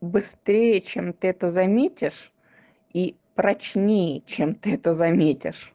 быстрее чем ты это заметишь и прочнее чем ты это заметишь